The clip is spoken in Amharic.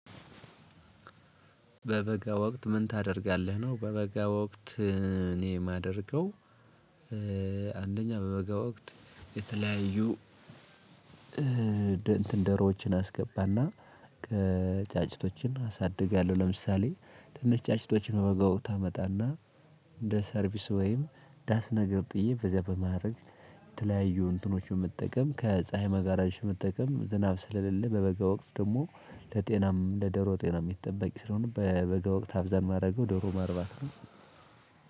በበጋ ወቅት ምን ታደርጋለህ ነው? በበጋ ወቅት እኔ የማደርገው አንደኛ በበጋ ወቅት የተለያዩ እንትን ደሮዎችን አስገባና ጫጭቶችን አሳድጋለው። ለምሳሌ ትንሽ ጫጭቶችን በጎ ታመጣና እንደ ሰርቪስ ወይም ዳስ ነገር ጥዬ በዚያ በማድረግ የተለያዩ እንትኖች መጠቀም ከፀሀይ መጋራዝ መጠቀም ዝናብ ስለሌለ በበጋ ወቅት ደግሞ ለጤናም ለደሮ ጤና የሚጠበቅ ስለሆነ። በበገ ወቅት አብዛን ማድረገው ደሮ ማርባት ነው።